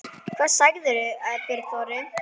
Hvað segir þú, Björn Þorri?